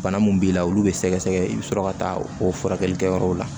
Bana mun b'i la olu bɛ sɛgɛsɛgɛ i bɛ sɔrɔ ka taa o furakɛli kɛyɔrɔw la